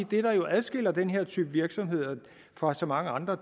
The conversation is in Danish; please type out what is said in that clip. det der jo adskiller den her type virksomheder fra så mange andre